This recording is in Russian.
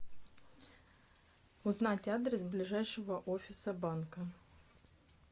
узнать адрес ближайшего офиса банка